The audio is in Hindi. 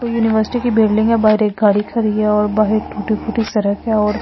को यूनिवर्सिटी की बिल्डिंग है बाहर एक गाड़ी खड़ी है और बाहर टूटी-फूटी सड़क है और--